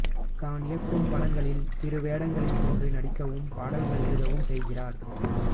தான் இயக்கும் படங்களில் சிறு வேடங்களில் தோன்றி நடிக்கவும் பாடல்கள் எழுதவும் செய்கிறார்